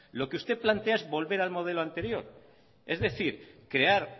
lo que usted plantea es volver al modelo anterior es decir crear